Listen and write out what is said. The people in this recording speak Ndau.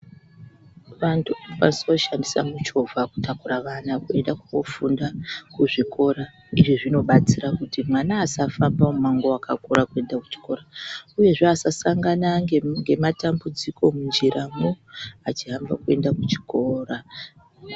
Vantu vanosisooshandisa muchovha kutakura vana kuenda koofunda kuzvikora. Izvi zvinobatsira kuti mwana asafamba mumango wakakura kuenda kuchikora. Uyezve asasangana ngematambudziko munjiramo achihamba kuenda kuchikora.